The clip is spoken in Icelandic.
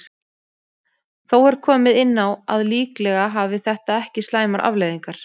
Þó er komið inn á að líklega hafi þetta ekki slæmar afleiðingar.